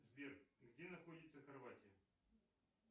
сбер где находится хорватия